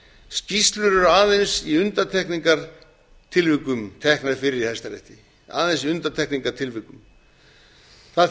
skýrslur eru aðeins í undantekningartilvikum teknar fyrir í hæstarétti það þýðir í